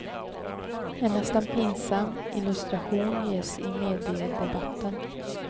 En nästan pinsam illustration ges i mediadebatten.